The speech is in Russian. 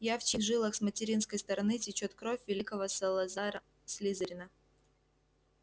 я в чьих жилах с материнской стороны течёт кровь великого салазара слизерина